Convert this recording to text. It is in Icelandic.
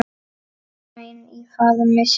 græn í faðmi sér.